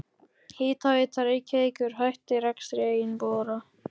Hitaveita Reykjavíkur hætti rekstri eigin bora.